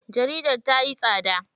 Jaridar tayi tsada.